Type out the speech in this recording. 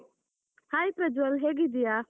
Hai Prajwal, ಹೇಗಿದ್ದೀಯಾ?